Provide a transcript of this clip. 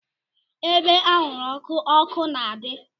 Ebe anwụrụ ọkụ, ọkụ na-adị.